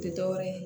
Tɛ dɔwɛrɛ ye